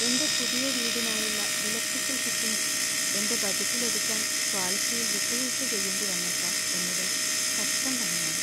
എന്‍റെ പുതിയ വീടിനായുള്ള ഇലക്ട്രിക്കൽ ഫിറ്റിംഗ്സ് എന്‍റെ ബജറ്റിൽ ഒതുക്കാൻ ക്വാളിറ്റിയിൽ വിട്ടുവീഴ്ച ചെയ്യേണ്ടി വന്നേക്കാം എന്നത് കഷ്ടം തന്നെയാണ് .